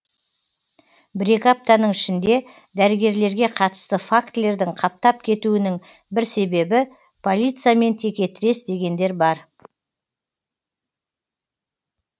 бір екі аптаның ішінде дәрігерлерге қатысты фактілердің қаптап кетуінің бір себебі полициямен текетірес дегендер бар